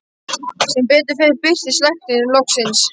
Sem betur fer birtist læknirinn loksins.